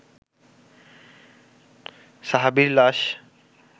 সাহাবীর লাশ